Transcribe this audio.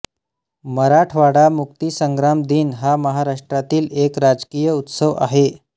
मराठवाडा मुक्तिसंग्राम दिन हा महाराष्ट्रातील एक राजकीय उत्सव आहे